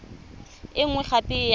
e nngwe gape e ya